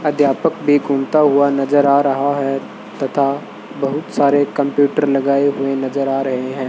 अध्यापक भी घूमता हुआ नजर आ रहा है तथा बहुत सारे कंप्यूटर लगाए हुए नजर आ रहे हैं।